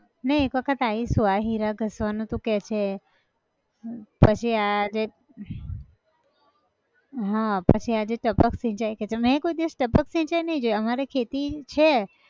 ના એક વખત આયીશું આ હીરા ઘસવાનું તું કેહ છે એ, પછી આ જે, પછી આ જે ટપક સિંચાઈ કે છે મેં કોઈ દિવસ ટપક સિંચાઈ નઈ જોઈ અમારે ખેતી છે